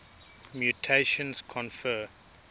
mutations confer